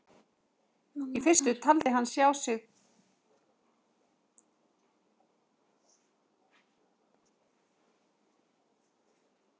Í fyrstu taldi hann sig sjá tvær stjörnur hvor sínu megin við reikistjörnuna.